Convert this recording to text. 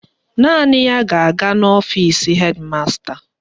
Naanị ya ga-aga n'ọfisi hedi masta